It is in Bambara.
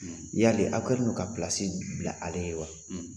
Yali aw kɛlen don ka bila ale ye wa